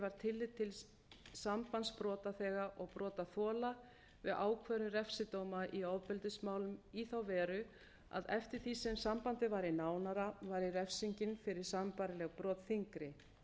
að tekið var tillit til sambands brotaþega og brotaþola við ákvörðun refsidóma í ofbeldismálum í þá veru að eftir því sem sambandið væri nánara væri refsingin fyrir sambærileg brot þyngri